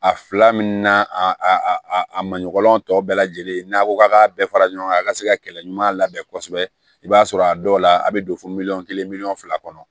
A fila min na a a a a maɲɔgɔn tɔw bɛɛ lajɛlen n'a ko k'a k'a bɛɛ fara ɲɔgɔn kan a ka se ka kɛlɛ ɲuman labɛn kosɛbɛ i b'a sɔrɔ a dɔw la a bɛ don fo miliyɔn kelen miliyɔn fila kɔnɔ